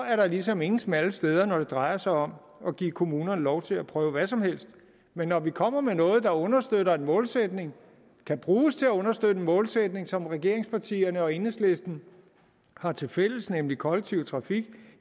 at der ligesom ingen smalle steder er når det drejer sig om at give kommunerne lov til at prøve hvad som helst men når vi kommer med noget der understøtter en målsætning og kan bruges til at understøtte en målsætning som regeringspartierne og enhedslisten har tilfælles nemlig mere kollektiv trafik